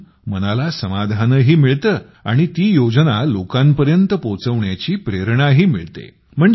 त्यातून मनाला समाधानही मिळते आणि ती योजना लोकांपर्यंत पोहोचवण्याची प्रेरणाही मिळते